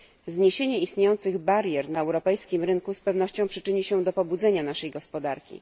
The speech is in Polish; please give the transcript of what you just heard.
Zniesienie istniejących barier na europejskim rynku z pewnością przyczyni się do pobudzenia naszej gospodarki.